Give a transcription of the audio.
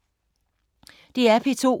DR P2